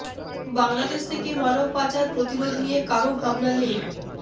বাংলাদেশ থেকে মানব পাচার প্রতিরোধ নিয়ে কারও ভাবনা নেই